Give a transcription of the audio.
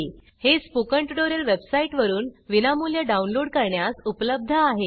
हे spoken tutorial वेबसाइटवरून विनामूल्य डाउनलोड करण्यास उपलब्ध आहेत